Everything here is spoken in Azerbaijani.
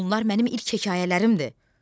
Bunlar mənim ilk hekayələrimdir.